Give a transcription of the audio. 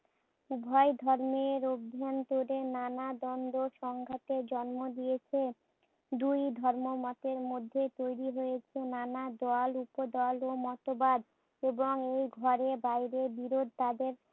উভয় ধর্মের অভ্যন্তরে নানা দ্বন্দ্ব-সংঘাতের জন্ম দিয়েছে। দুই ধর্ম মতের মধ্যে তৈরি হয়েছে নানা দল, উপদল ও মতবাদ। এই ঘরে বাইরে বিরোধ তাদের